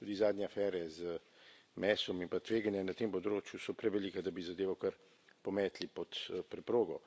Tudi zadnje afere z mesom in pa tveganja na tem področju so prevelika, da bi zadevo kar pometli pod preprogo.